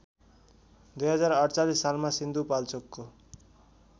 २०४८ सालमा सिन्धुपाल्चोकको